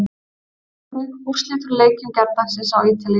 Sjá einnig: Úrslit úr leikjum gærdagsins á Ítalíu